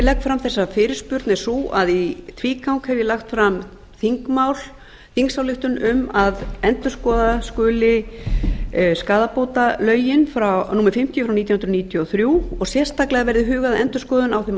legg fram þessa fyrirspurn er sú að í tvígang hef ég lagt fram þingmál þingsályktun um að endurskoða skuli skaðabótalögin númer fimmtíu nítján hundruð níutíu og þrjú og sérstaklega verði hugað að endurskoðun á þeim